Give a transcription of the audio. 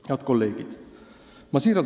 Head kolleegid!